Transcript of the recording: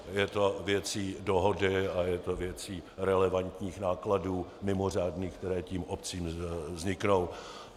Je to věcí dohody a je to věcí relevantních nákladů mimořádných, které tím obcím vzniknou.